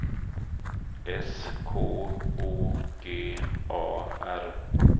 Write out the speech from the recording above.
S K O G A R